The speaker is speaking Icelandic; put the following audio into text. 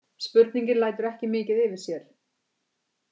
Spurningin lætur ekki mikið yfir sér.